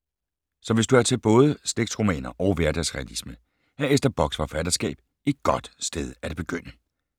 Så hvis du er til både slægtsromaner og hverdagsrealisme, er Ester Bocks forfatterskab et godt sted at begynde.